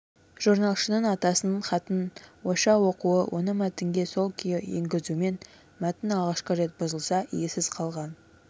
жорналшының атасының хатын ойша оқуы оны мәтінге сол күйі енгізуімен мәтін алғашқы рет бұзылса иесіз қалған